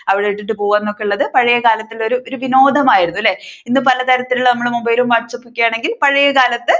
അവിടെ ഇട്ടിട്ടു പോകുകന്നൊക്കെയുള്ളത് പഴയകാലത്തെ ഒരു വിനോദം ആയിരുന്നു അല്ലേ. ഇന്നും പലതരത്തിലുള്ള നമ്മുടെ mobile ലും whatsapp ഒക്കെ ആണെങ്കിൽ പഴയകാലത്ത്